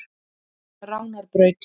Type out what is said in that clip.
Ránarbraut